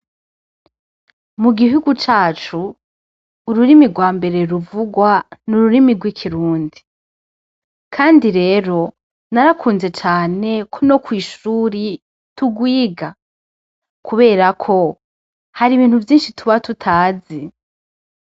Mu guhigu cacu ururimi rwa mbere ruvugwa n'ururimi rw'ikirundi , Kandi rero narakunze cane ko no kw'ishure tugwiga kubera ko hari ibintu vyinshi tuba tutazi.